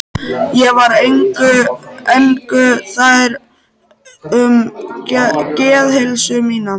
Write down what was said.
Ég var engu nær um geðheilsu mína.